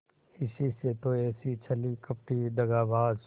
इसी से तो ऐसी छली कपटी दगाबाज